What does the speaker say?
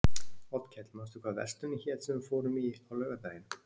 Oddkell, manstu hvað verslunin hét sem við fórum í á laugardaginn?